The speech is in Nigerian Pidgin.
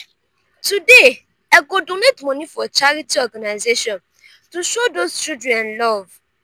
today i go donate monie for charity organization to show those children love.